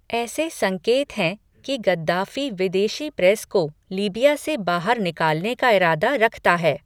ऐसे संकेत हैं कि गद्दाफ़ी विदेशी प्रेस को लीबिया से बाहर निकालने का इरादा रखता है।